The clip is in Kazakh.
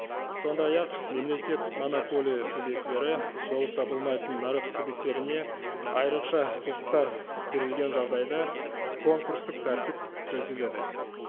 сондай ақ мемлекеттік монополия субъектілері болып табылмайтын нарық субъектілеріне айрықша құқықтар берілген жағдайда конкурстық тәртіп көзделеді